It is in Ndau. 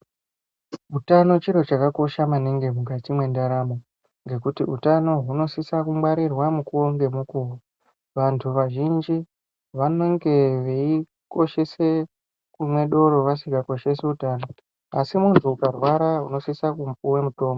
Utano chiro chakakosha maningi mukati mwendaramo, ngekuti utano hunosisa kungwarirwa mukuwo ngemukuwo. Vantu vazhinji vanenge veikoshese kumwe doro vasikakoshesi utano, asi munthu ukarwara unosisa kupuwa mutombo.